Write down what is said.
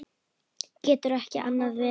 Getur ekki annað verið.